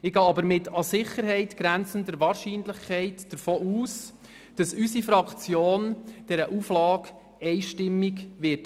Ich gehe aber davon aus, dass unsere Fraktion dieser Auflage mit an Sicherheit grenzender Wahrscheinlichkeit einstimmig zustimmen wird.